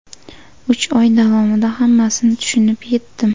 Uch oy davomida hammasini tushunib etdim.